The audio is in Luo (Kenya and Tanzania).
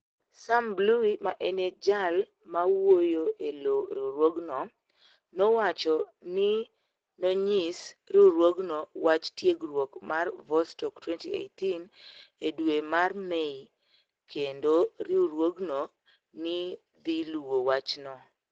Sam Blui, ma eni jal mawuoyo e lo riwruogno, nowacho nii ni e oniyis riwruogno wach tiegruok mar Vostok - 2018 e dwe mar Mei, kenido riwruogno ni e dhi luwo wachno.